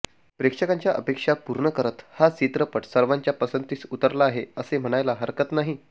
प्रेक्षकांच्या अपेक्षा पूर्ण करत हा चित्रपट सर्वांच्या पसंतीस उतरला आहे असे म्हणायला हरकत नाही